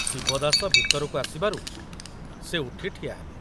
ଶିବଦାସ ଭିତରକୁ ଆସିବାରୁ ସେ ଉଠି ଠିଆହେଲେ।